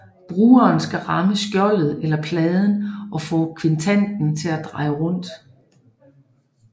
Brugeren skal ramme skjoldet eller pladen og få quintanen til at dreje rundt